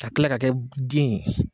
Ka kila ka kɛ den ye.